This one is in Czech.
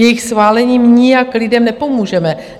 Jejich schválením nijak lidem nepomůžeme.